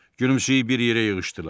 Gülümsəyib bir yerə yığışdılar.